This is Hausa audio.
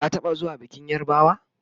ka taɓa zuwa bikin yarbawa?